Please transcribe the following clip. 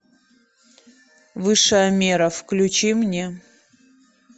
высшая мера включи мне